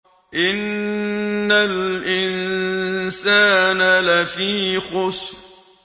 إِنَّ الْإِنسَانَ لَفِي خُسْرٍ